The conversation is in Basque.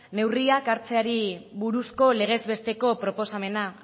neurriak hartzeari buruzko legez besteko proposamena